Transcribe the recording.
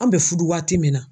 An bɛ fudu waati min na.